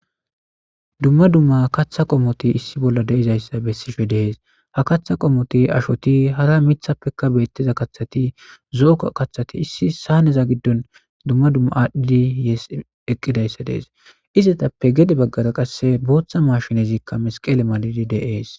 dumma dumma katha qomoti issi bolla deizayssa bessishe dehees ha katha qomoti ashoti hara mithappekka beettiza kathati zo7oa kathati issi saaneza giddon dumma dumma aadhdiyes eqqidayssa dees izetappe gede baggara qasse booththa maashinezikka masqele malidi de7ees